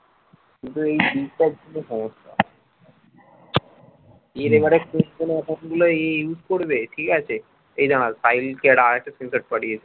এ জানাল file টেরা আছে screenshot পাঠিয়েছে